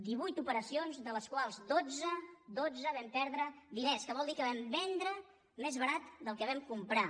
divuit operacions de les quals en dotze en dotze vam perdre diners que vol dir que vam vendre més barat del que vam comprar